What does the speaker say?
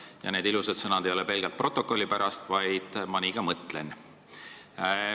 Ja see ilus pöördumine ei ole pelgalt stenogrammi pärast, vaid ma nii ka mõtlen.